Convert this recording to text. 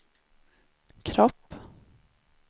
kropp